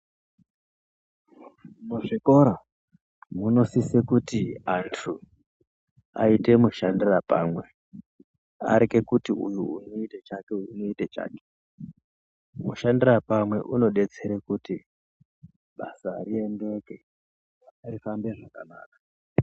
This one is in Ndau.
Muzvikora munosisa kuti antu aite mushandira pamwe areke kuti uyu unoita chake uyu unoita chake mushandirapamwe unobetsere kuti basa rifambe zvakanaka .